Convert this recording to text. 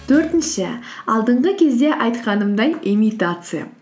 төртінші алдынғы кезде айтқанымдай имитация